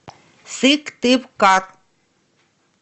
сыктывкар